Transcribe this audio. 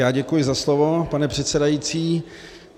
Já děkuji za slovo, pane předsedající.